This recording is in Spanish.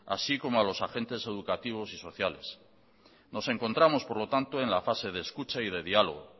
así como a los agentes educativos y sociales nos encontramos por lo tanto en la fase de escucha y de diálogo